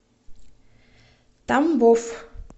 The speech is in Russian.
тамбов